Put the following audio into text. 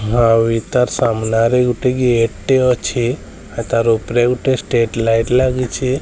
ଆଉ ଏଇଟା ସାମ୍ନାରେ ଗୋଟେ ଗେଟ୍ ଟେ ଅଛି। ଆଉ ତାର ଉପରେ ଗୋଟେ ଷ୍ଟ୍ରେଟ୍ ଲାଇଟ୍ ଲାଗିଛି।